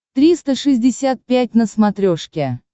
триста шестьдесят пять на смотрешке